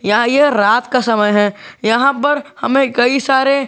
यहाँ यह रात का समय है यहां पर हमे कई सारे--